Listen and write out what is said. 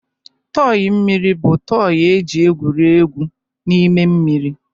tọị mmiri bụ tọị e ji egwuri egwu n'ime mmiri.